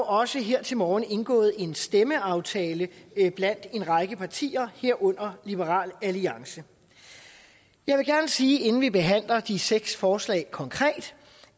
også her til morgen indgået en stemmeaftale blandt en række partier herunder liberal alliance jeg vil gerne sige inden vi behandler de seks forslag konkret